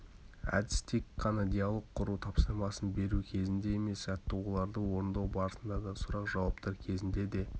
әдіс тек қана диалог құру тапсырмасын беру кезінде емес жаттығуларды орындау барысында да сұрақ-жауаптар кезінде де